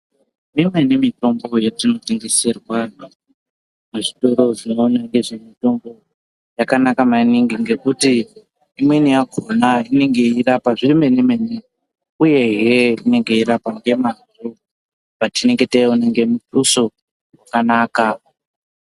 Imweni mitombo yatinotengeserwa muzvitoro zvinoona ngezvemutombo yakanaka maningi ngekuti imweni yakhona inenge yeirapa zvemene mene uyehe inenge yeirapa ngemwazvo apatinenge taiona ngemuthuso wakanaka.